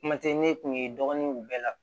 Kuma tɛ ne kun ye dɔgɔnunw bɛɛ la